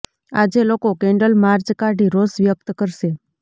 આજે લોકો candle march કાઢી રોષ વ્યક્ત કરશે